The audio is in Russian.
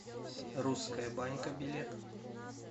русская банька билет